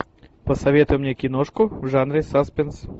посоветуй мне киношку в жанре саспенс